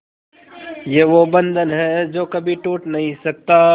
ये वो बंधन है जो कभी टूट नही सकता